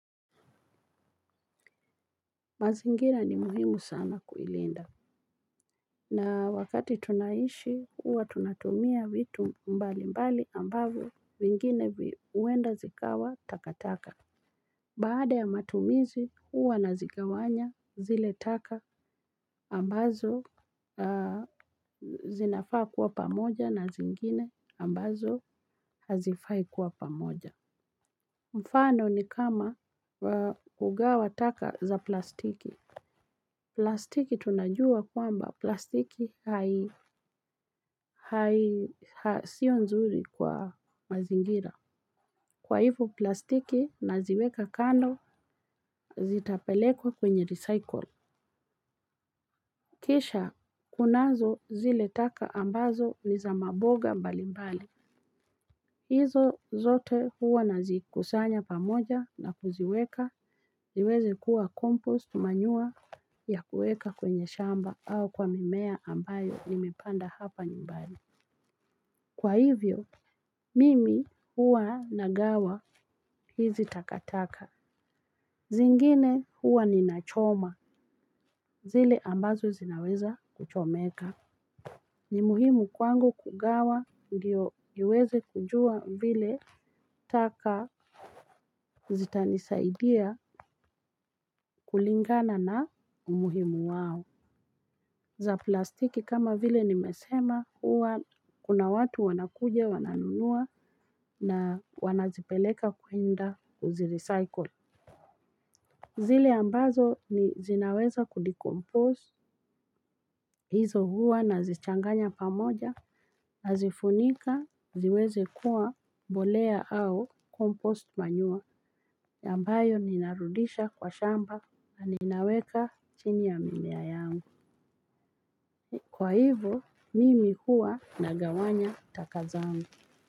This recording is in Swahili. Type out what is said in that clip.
Mazinginra ni muhimu sana kuilinda. Na wakati tunaishi huwa tunatumia vitu mbalimbali ambavyo vingine huenda zikawa takataka. Baada ya matumizi huwa na zigawanya zile taka ambazo zinafaa kuwa pamoja na zingine ambazo hazifai kuwa pamoja. Mfano ni kama kugawa taka za plastiki. Plastiki tunajua kwamba plastiki hai sio nzuri kwa mazingira. Kwa hivo plastiki naziweka kando zitapeleko kwenye recycle. Kisha kunazo zile taka ambazo ni za maboga mbali mbali hizo zote huwa nazikusanya pamoja na kuziweka niweze kuwa kompost manure ya kuweka kwenye shamba au kwa mimea ambayo nimepanda hapa nyumbani. Kwa hivyo mimi huwa nagawa hizi takataka. Zingine huwa ninachoma zile ambazo zinaweza kuchomeka. Ni muhimu kwangu kugawa ndiyo niweze kujua vile taka zitanisaidia kulingana na umuhimu wao. Za plastiki kama vile nimesema huwa kuna watu wanakuja wananunua na wanazipeleka kuenda kuzirecycle. Zile ambazo ni zinaweza kudecoompose hizo huwa na zichanganya pamoja nazifunika ziweze kuwa mbolea au kompost manure ambayo ninarudisha kwa shamba na ninaweka chini ya mimea. Kwa hivo mimi huwa nagawanya taka zangu.